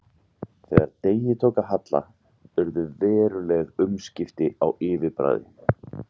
Þegar degi tók að halla urðu veruleg umskipti á yfirbragði